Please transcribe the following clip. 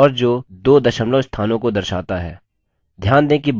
और जो दो दशमलव स्थानों को दर्शाता है